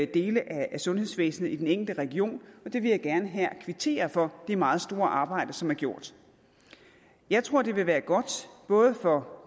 dele af sundhedsvæsenet i den enkelte region jeg vil gerne her kvittere for det meget store arbejde som er gjort jeg tror det vil være godt både for